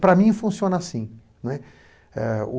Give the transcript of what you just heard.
Para mim, funciona assim, né. É...